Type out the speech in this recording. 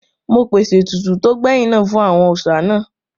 Mo pèsè ètùtù tó gbẹ̀yìn náà fún àwọn òòsà náà